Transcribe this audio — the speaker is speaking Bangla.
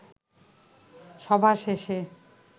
সভা শেষে